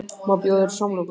Má bjóða þér samloku?